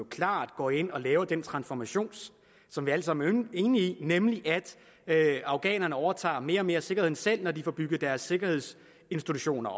klart går ind og laver den transformation som vi alle sammen enige i nemlig at afghanerne overtager mere og mere af sikkerheden selv når de får bygget deres sikkerhedsinstitutioner